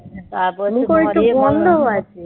মুখে তো গন্ধ হয় তো